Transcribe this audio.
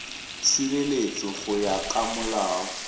tshireletso go ya ka molao